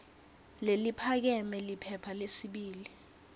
leliphakeme liphepha lesibili